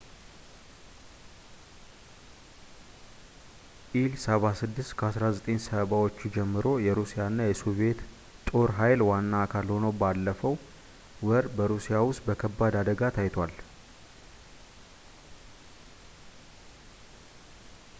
ኢል-76 ከ1970 ዎቹ ጀምሮ የሩሲያ እና የሶቪዬት ጦር ኃይል ዋና አካል ሆኖ ባለፈው ወር በሩሲያ ውስጥ በከባድ አደጋ ታይቷል